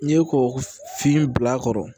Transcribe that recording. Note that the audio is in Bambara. N'i ye kɔkɔ fiyɛn bil'a kɔrɔ